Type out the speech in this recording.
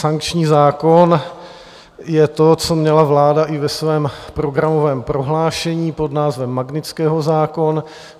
Sankční zákon je to, co měla vláda i ve svém programovém prohlášení pod názvem Magnitského zákon.